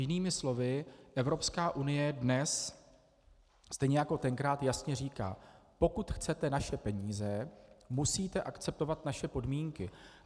Jinými slovy, Evropská unie dnes stejně jako tenkrát jasně říká: Pokud chcete naše peníze, musíte akceptovat naše podmínky.